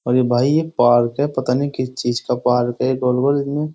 और ये भाई ये पार्क है। पता नहीं किस चीज का पार्क है। --